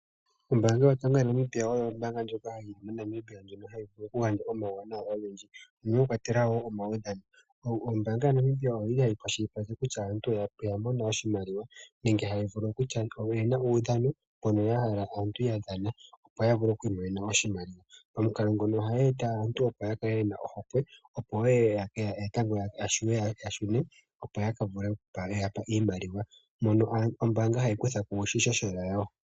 Ombanga yaNamibia oyo ombanga ndjoka hayi vulu oku gandja omawuwanawa ogendji noshigwana .Momawuwanawa omakwatelwa omawudhano. Ombanga ohayi kwashilipaleke kutya kutya aantu Oya mona oshimaliwa nenge tamono kutya oyena uudhano moka yahala aantu yadhana opo ya vule okwi monena oshimaliwa .Momukalo ngika oha eta aantu opo ya kale yena ohokwe yokushuna yaka mone oshimaliwa mbyoka ombanga hayi kutha kiishoshela yawo.